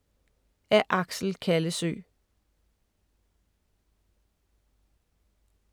Af Axel Kallesøe